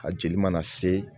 A jeli mana se